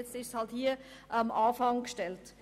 Jetzt hat man sie an den Anfang gestellt.